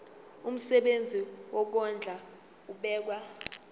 umsebenzi wokondla ubekwa